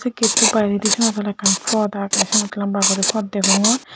gate toh beredi siyot oley ekkan phot ageh siyot lamba gori phot degongor.